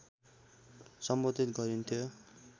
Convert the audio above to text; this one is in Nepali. सम्बोधित गरिन्थ्यो